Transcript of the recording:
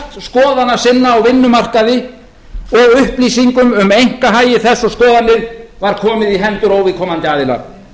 skoðana sinna á vinnumarkaði og upplýsingum um einkahagi þess og skoðanir var komið í hendur óviðkomandi aðila